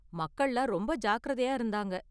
மக்கள்லாம் ரொம்ப ஜாக்கிரதையா இருந்தாங்க.